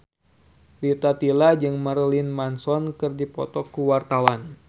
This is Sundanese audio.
Rita Tila jeung Marilyn Manson keur dipoto ku wartawan